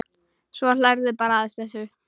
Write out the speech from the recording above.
Svo hlærðu bara að þessu!